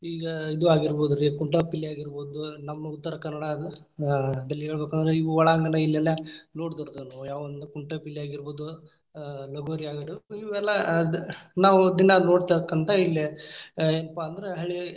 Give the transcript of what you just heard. ಈಗಾ ಇದು ಆಗಿರ್ಬೋದರ್ರಿ ಕುಂಟಾಪಿಲ್ಲಿ ಆಗಿರ್ಬೋದು , ನಮ್ಮ ಉತ್ತರ ಕನ್ನಡಾದು ಆ ಹೇಳಬೇಕಂದ್ರ ಇವು ಒಳಾಂಗಣ ಇಲ್ಲೆಲ್ಲಾ ನೋಡ್ದೊರ್‌ ಅದಾರ ಅವು ಯಾವಂದ್ರ ಕುಂಟಾಪಿಲ್ಲಿ ಆಗಿರ್ಬೋದು , ಲಗೋರಿ ಆಗಿರ್ಬೋದು ಇವೆಲ್ಲಾ ಅದ್‌ ನಾವ್‌ ದಿನ್ನಾ ನೋಡತಕ್ಕಂತಾ ಇಲ್ಲೇ ಅ ಏನ್ಪಾ ಅಂದ್ರ.